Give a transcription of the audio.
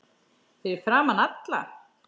Fyrir framan alla?